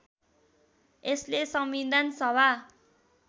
यसले संविधान सभा